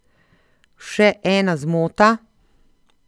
Še ena zmota?